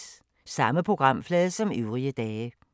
Samme programflade som øvrige dage